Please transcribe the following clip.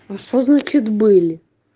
а что значит были